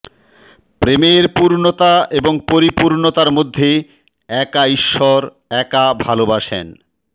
প্রেমের পূর্ণতা এবং পরিপূর্ণতার মধ্যে একা ঈশ্বর একা ভালবাসেন